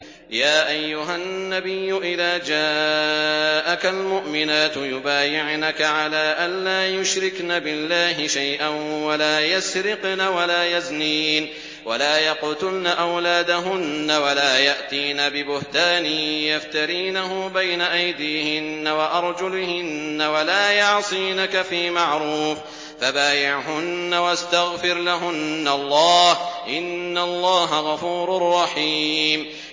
يَا أَيُّهَا النَّبِيُّ إِذَا جَاءَكَ الْمُؤْمِنَاتُ يُبَايِعْنَكَ عَلَىٰ أَن لَّا يُشْرِكْنَ بِاللَّهِ شَيْئًا وَلَا يَسْرِقْنَ وَلَا يَزْنِينَ وَلَا يَقْتُلْنَ أَوْلَادَهُنَّ وَلَا يَأْتِينَ بِبُهْتَانٍ يَفْتَرِينَهُ بَيْنَ أَيْدِيهِنَّ وَأَرْجُلِهِنَّ وَلَا يَعْصِينَكَ فِي مَعْرُوفٍ ۙ فَبَايِعْهُنَّ وَاسْتَغْفِرْ لَهُنَّ اللَّهَ ۖ إِنَّ اللَّهَ غَفُورٌ رَّحِيمٌ